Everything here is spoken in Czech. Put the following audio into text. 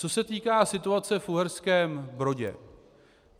Co se týká situace v Uherském Brodě.